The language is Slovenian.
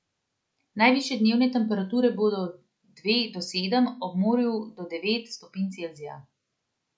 Najvišje dnevne temperature bodo od dve do sedem, ob morju do devet stopinj Celzija.